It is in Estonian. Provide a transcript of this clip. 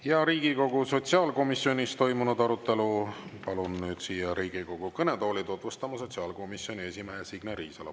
Ja Riigikogu sotsiaalkomisjonis toimunud arutelu palun nüüd siia Riigikogu kõnetooli tutvustama sotsiaalkomisjoni esimehe Signe Riisalo.